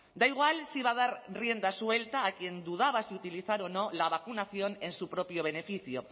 da igual si va a dar rienda suelta a quien dudaba si utilizar o no la vacunación en su propio beneficio